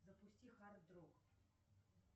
запусти хард рок